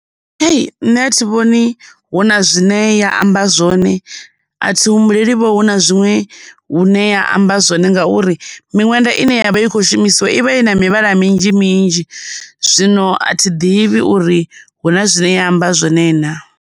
Hei, nṋe a thi vhoni hu na zwine ya amba zwone, a thi humbuleli vho hu na zwiṅwe hune ya amba zwone ngauri miṅwenda ine yavha i kho shumisiwa ivha i na mivhala minzhi minzhi, zwino a thi ḓivhi uri huna zwine ya amba zwone na.